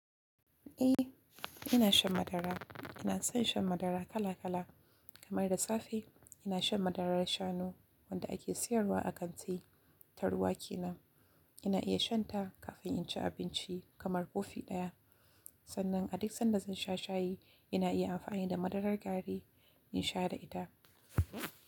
Eh, ina shan madara. Ina son shan madara kala kala. Kamar da safe ina shan madarar shanu wanda ake siyarwa a kanti ta ruwa ke nan. Ina iya shan ta kafin in ci abinci kamar kofi ɗaya. Sannan a duk sanda zan sha shayi ina iya amfani da madarar gari in sha da ita.